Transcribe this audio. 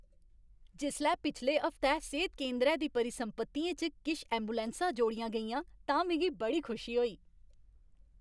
जिसलै पिछले हफ्तै सेह्त केंदरै दी परिसंपत्तियें च किश ऐंबुलैंसां जोड़ियां गेइयां तां मिगी बड़ी खुशी होई।